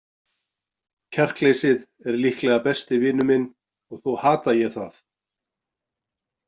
Kjarkleysið er líklega besti vinur minn og þó hata ég það.